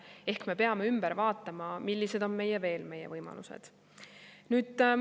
Ehk me peame vaatama, millised on veel meie võimalused.